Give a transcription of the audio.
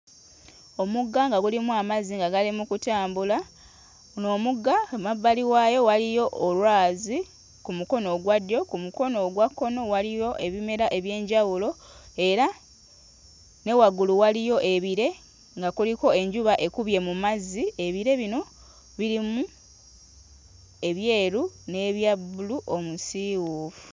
Omugga nga gulimu amazzi nga gali mu kutambula, guno omugga ku mabbali waayo waliyo olwazi ku mukono ogwa ddyo, ku mukono ogwa kkono waliyo ebimera eby'enjawulo era ne waggulu waliyo ebire nga kuliko enjuba ekubye mu mazzi ebire bino birimu ebyeru n'ebya bbulu omusiiwuufu.